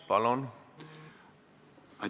Palun!